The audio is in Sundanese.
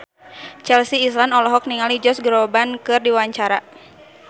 Chelsea Islan olohok ningali Josh Groban keur diwawancara